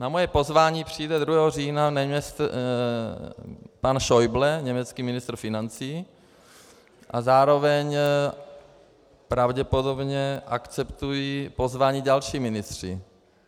Na moje pozvání přijede 2. října pan Schäuble, německý ministr financí, a zároveň pravděpodobně akceptují pozvání další ministři.